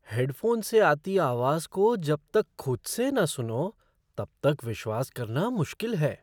Headphone से आती आवाज़ को जब तक खुद से न सुनो तब तक विश्वास करना मुश्किल है।